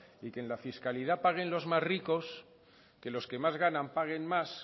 y que en la fiscalidad paguen los más ricos que los que más ganan paguen más